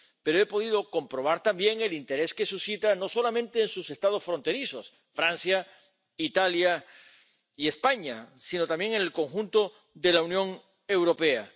Pero he podido comprobar también el interés que suscita no solamente en sus Estados fronterizos —Francia, Italia y España—, sino también en el conjunto de la Unión Europea.